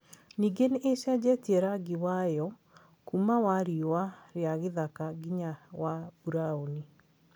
Ningĩ nĩ ĩcenjetie rangi wayo kuuma wa riũa rĩa gĩthaka nginya wa burauni.